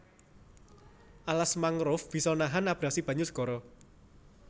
Alas mangrove bisa nahan abrasi banyu segara